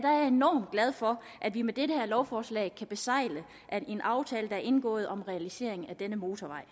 enormt glad for at vi med dette lovforslag kan besegle en aftale der er indgået om en realisering af denne motorvej